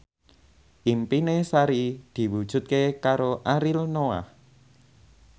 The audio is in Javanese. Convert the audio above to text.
impine Sari diwujudke karo Ariel Noah